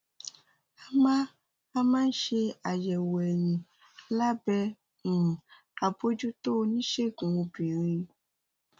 a máa ń máa ń ṣe àyẹ̀wò ẹ̀yìn lábẹ́ um àbojútó oníṣègùn obìnrin